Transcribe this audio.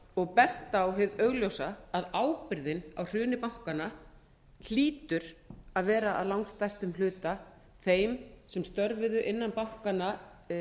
og bent á hið augljósa að ábyrgðin á hruni bankanna hlýtur að vera að langstærstum hluta þeim sem störfuðu innan bankanna